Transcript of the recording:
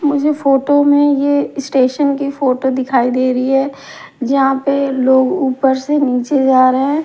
मुझे फोटो में ये इस्टेशन की फोटो दिखाई दे रही है जहाँ पे लोग ऊपर से नीचे जा रहे हैं।